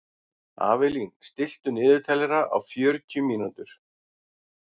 Avelín, stilltu niðurteljara á fjörutíu mínútur.